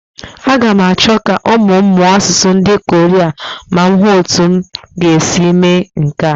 Aga m achọ ka ụmụ m mụọ asụsụ ndị Koria ma m hụ ọ́tụ́ m ga-esi mee nke a.